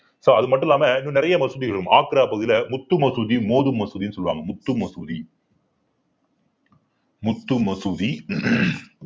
so அது மட்டும் இல்லாம இன்னும் நிறைய மசூதிகளும் ஆக்ரா பகுதியில முத்து மசூதி மோது மசூதின்னு சொல்லுவாங்க முத்து மசூதி முத்து மசூதி